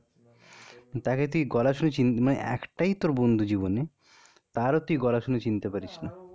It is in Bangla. তাকে তুই গলা শুনে চিন, মানে, একটাই তোর বন্ধু জীবনে তার ও তুই গলা শুনে চিনতে পারিশ নি